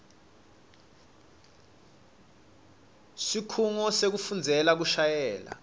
sikhungo sekufundzela kushayela